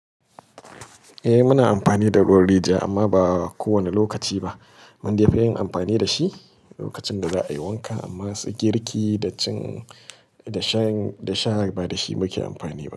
Eh muna amfani da ruwan rijiya amma ba kowane lokaci ba. Mundai fiyin amfani da shi lokacin da za'a yi wanka amma su girki da cin da sha ba da shi muke amfani ba.